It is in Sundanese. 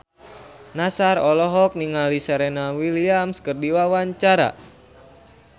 Nassar olohok ningali Serena Williams keur diwawancara